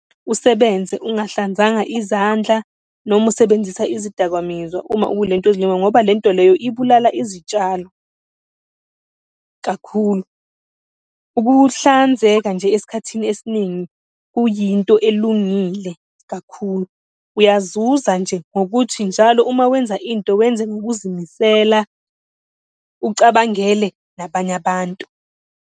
Usebenze ungahlanzanga izandla, noma usebenzisa izidakamizwa uma ukulento leyo, ngoba lento leyo ibulala izitshalo, kakhulu. Ukuhlanzeka nje esikhathini esiningi kuyinto elungile kakhulu. Uyazuza nje ngokuthi njalo uma wenza into wenze ngokuzimisela, ucabangele nabanye abantu.